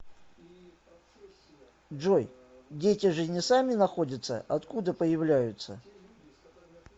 джой дети же не сами находятся откуда появляются